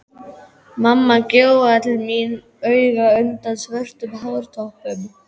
Mamma gjóaði til mín auga undan svörtum hártoppnum.